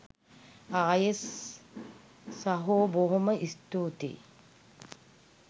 අයෙත් සහෝ බොහොම ස්තූතියි